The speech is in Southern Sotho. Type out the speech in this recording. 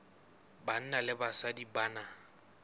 banna le basadi ba na